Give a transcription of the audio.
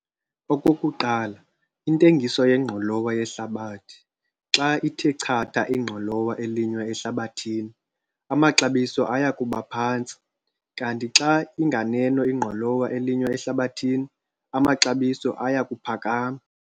Okokuqala, intengiso yengqolowa yehlabathi, xa ithe chatha ingqolowa elinywa ehlabathini, amaxabiso aya kuba phantsi, kanti xa inganeno ingqolowa elinywa ehlabathini, amaxabiso aya kuphakama.